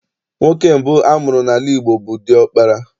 Nwoke mbụ amụrụ n'ala Igbo bụ diọkpara